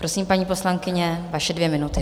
Prosím, paní poslankyně, vaše dvě minuty.